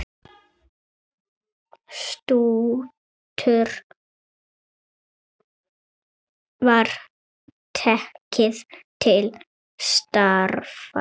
Stútur var tekið til starfa!